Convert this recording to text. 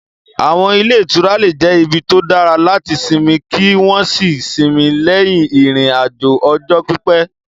Àwọn ilé ìtura lè jẹ́ ibi tó dára láti sinmi kí wọ́n sì sinmi lẹ́yìn ìrìn-àjò ọjọ́ pípẹ́.